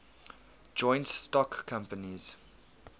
joint stock companies